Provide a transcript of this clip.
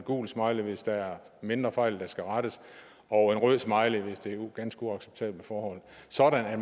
gul smiley hvis der er mindre fejl der skal rettes og en rød smiley hvis det er ganske uacceptable forhold sådan at